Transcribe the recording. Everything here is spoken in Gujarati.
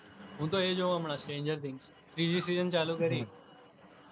હું તો એ જોવુ હમણા stranger things ત્રિજી season ચાલુ કરી.